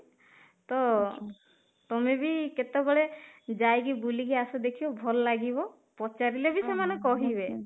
ତ ତମେ ବି କେତେ ବେଳେ ଯାଇକି ବୁଲିକି ଆସ ଦେଖିବ ଭଲ ଲାଗିବ ପଚାରିଲେ ବି ସେମାନେ କହିବେ